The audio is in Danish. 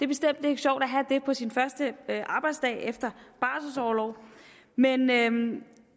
bestemt ikke sjovt at have det på sin første arbejdsdag efter barselsorlov men men